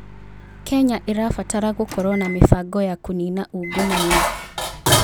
Kenya ĩrabatara gũkorwo na mĩbango ya kũnina ungumania.